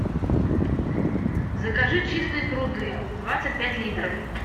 закажи чистые пруды двадцать пять литров